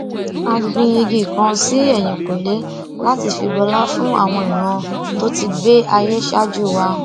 a gbin igi kan sí èyìnkùlé láti fi bọlá fún àwọn ìran tó ti gbé ayé ṣáájú wa